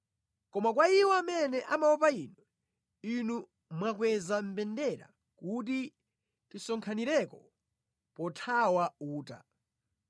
Koma kwa iwo amene amaopa Inu, Inu mwakweza mbendera kuti tisonkhanireko pothawa uta.